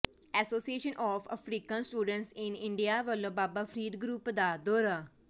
association of African students in India ਵਲੋਂ Baba Farid group ਦਾ ਦੌਰਾ